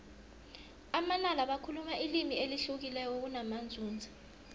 amanala bakhuluma ilimi elihlukileko namanzunza